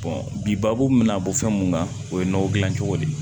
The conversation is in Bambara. bi baabu min bɛna bɔ fɛn mun kan o ye nɔgɔ gilan cogo de ye